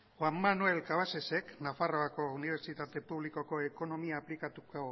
juan manuel cabasesek nafarroako unibertsitate publikoko ekonomia aplikatuko